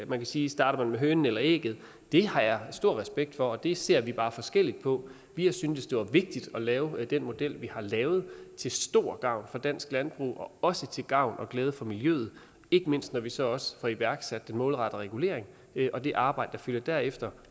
man kan sige starter man med hønen eller ægget det har jeg stor respekt for og det ser vi bare forskelligt på vi har syntes det var vigtigt at lave den model vi har lavet til stor gavn for dansk landbrug og også til gavn og glæde for miljøet ikke mindst når vi så også får iværksat den målrettede regulering og det arbejde der følger derefter